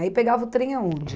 Aí pegava o trem aonde?